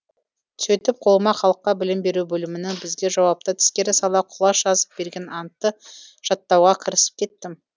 сөйтіп қолыма халыққа білім беру бөлімінің бізге жауапты әдіскері сала құлаш жазып берген антты жаттауға кірісіп кеттім